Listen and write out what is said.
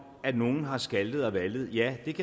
at nogen har skaltet og valtet ja det